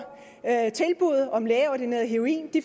tilbuddet om lægeordineret heroin